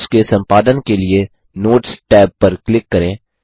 notes के संपादन के लिए नोट्स टैब पर क्लिक करें